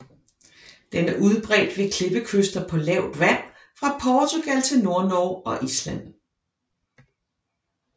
Den er udbredt ved klippekyster på lavt vand fra Portugal til Nordnorge og Island